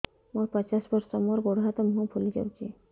ମୁ ପଚାଶ ବର୍ଷ ମୋର ଗୋଡ ହାତ ମୁହଁ ଫୁଲି ଯାଉଛି